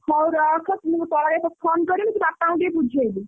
ହଉ ରଖ। ମୁଁ ପରେ ତତେ phone କରିବି ତୁ ବାପାଙ୍କୁ ଟିକେ ବୁଝେଇବୁ।